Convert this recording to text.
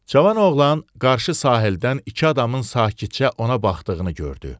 Cavan oğlan qarşı sahildən iki adamın sakitcə ona baxdığını gördü.